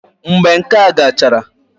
Mgbe nka gachara